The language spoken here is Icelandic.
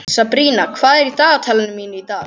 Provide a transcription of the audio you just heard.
Sabrína, hvað er í dagatalinu mínu í dag?